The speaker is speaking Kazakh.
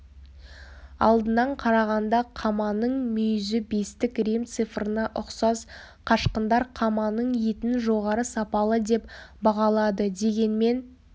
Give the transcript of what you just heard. алдынан қарағанда қаманың мүйізі бестік рим цифрына ұқсас қашқындар қаманың етін жоғары сапалы деп бағалады дегенмен